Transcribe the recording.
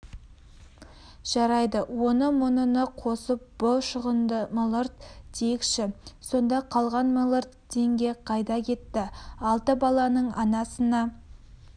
жарайды оны-мұныны қосып бұ шығынды млрд дейікші сонда қалған млрд теңге қайда кетті алты баланың анасына